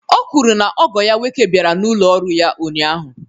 O kwuru na ogo ya nwoke bịara n'ụlọ ọrụ ya ụnyahụ